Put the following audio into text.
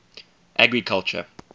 agriculture